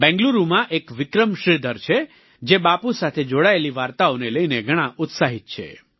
બેંગલુરુમાં એક વિક્રમ શ્રીધર છે જે બાપુ સાથે જોડાયેલી વાર્તાઓને લઈને ઘણાં ઉત્સાહિત છે